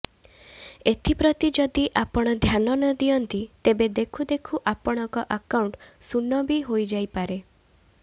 ଏଥିପ୍ରତି ଯଦି ଆପଣ ଧ୍ୟାନ ନ ଦିଅନ୍ତି ତେବେ ଦେଖୁଦେଖୁ ଆପଣଙ୍କ ଆକାଉଣ୍ଟ ଶୁନ ବି ହୋଇଯାଇପାରେ